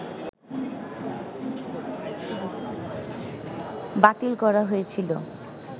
বাতিল করা হয়েছিল